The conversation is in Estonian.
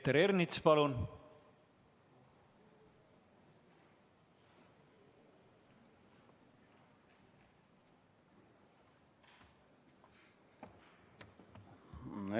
Peeter Ernits, palun!